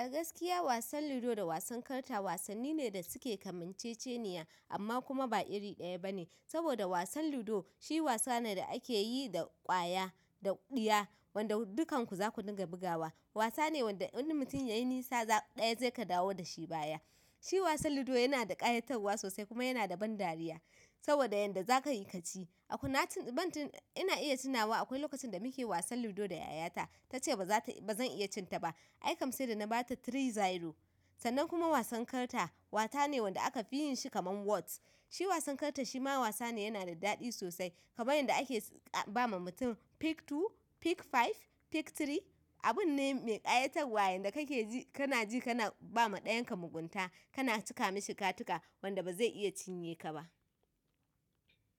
Agaskiya wasan ludo da wasan karta wasanni ne da suke kamanceceniya amma kuma ba iri ɗaya bane, saboda wasan ludo shi wasa ne da akeyi da ƙwaya da ɗiya wanda dukkan ku zaku dinga bugawa. Wasa ne wanda wani mutum yayi nisa ɗaya zai ka dawo dashi baya. Shi wasan ludo yana da ƙayatarwa sosai kuma yana da ban dariya saboda yanda zaka yi kaci. Ina iya tunawa akwai lokacin da muke wasan ludo da yayata tace ba zan iya cin ta ba, ai kam sai da na bata three zero. Sannan kuma wasan karta, wasa ne wanda aka fi yin shi kaman wats. Shi wasan karta shi ma wasa ne yana da daɗi sosai, kaman yanda ake ba ma mutum pick two, pick five, pick three, abun ne mai ƙayatarwa yanda kake ji kana ji kana ba ma ɗayan ka mugunta, kana cika mashi katika wanda ba zai iya cinye ka ba.